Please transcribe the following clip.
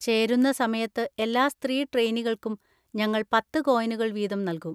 ചേരുന്ന സമയത്ത് എല്ലാ സ്ത്രീ ട്രെയ്‌നികൾക്കും ഞങ്ങൾ പത്ത് കോയിനുകൾ വീതം നൽകും.